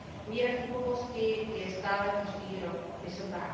Míra chybovosti je stále každý rok vysoká.